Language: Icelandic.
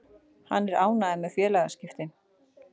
Hann er ánægður með félagaskiptin.